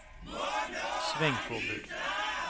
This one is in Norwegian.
svingforbud